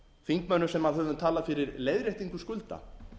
þingmönnum sem höfum talað fyrir leiðréttingu skulda